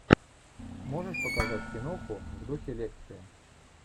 можешь показать киноху в духе лекции